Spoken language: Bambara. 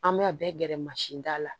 An bɛ a bɛɛ gɛrɛ mansin da la